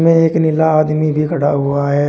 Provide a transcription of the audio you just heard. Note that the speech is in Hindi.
एक नीला आदमी भी खड़ा हुआ है।